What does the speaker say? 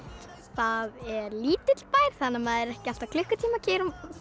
það er lítill bær þannig að maður er ekki alltaf klukkutíma að keyra